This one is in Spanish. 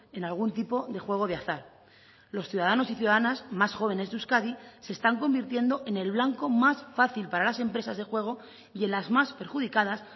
en algún tipo de juego de azar los ciudadanos y ciudadanas más jóvenes de euskadi se están convirtiendo en el blanco más fácil para las empresas de juego y en las más perjudicadas